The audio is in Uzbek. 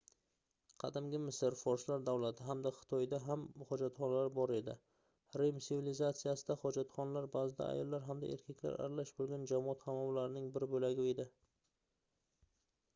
qadimgi misr forslar davlati hamda xitoyda ham hojatxonalar bor edi rim sivilizatsiyasida hojatxonalar baʼzida ayollar hamda erkaklar aralash boʻlgan jamoat hammomlarining bir boʻlagi edi